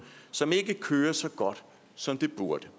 som ikke kører så godt som det burde